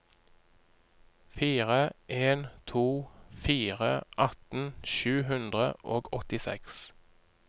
fire en to fire atten sju hundre og åttiseks